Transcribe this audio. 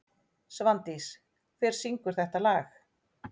Svandís, hver syngur þetta lag?